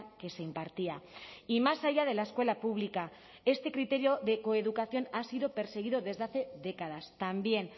que se impartía y más allá de la escuela pública este criterio de coeducación ha sido perseguido desde hace décadas también